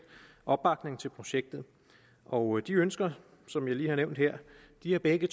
opbakning til projektet og de ønsker som jeg lige har nævnt her har begge